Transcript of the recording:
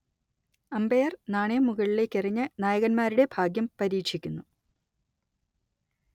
umpire നാണയം മുകളിലേക്കെറിഞ്ഞ് നായകന്മാരുടെ ഭാഗ്യം പരീക്ഷിക്കുന്നു